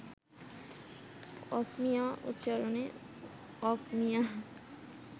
অসমীয়া উচ্চারণে অখ়মীয়া